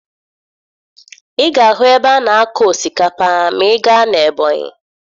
Ị ga-ahụ ebe a na-akọ osikapa ma ị gaa na Ebonyi